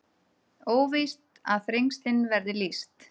Óvíst að Þrengslin verði lýst